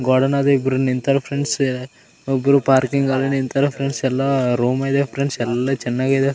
ಗೋಡನಾಗ ಇಬ್ರು ನಿಂತಾರ ಫ್ರೆಂಡ್ಸ್ ಒಬ್ರು ಪಾರ್ಕಿಂಗ್ ಅಲ್ಲಿ ನಿಂತಾರ ಫ್ರೆಂಡ್ಸ್ ಎಲ್ಲ ರೂಮ್ ಇದೆ ಫ್ರೆಂಡ್ಸ್ ಎಲ್ಲ ಚೆನಾಗಿದೆ.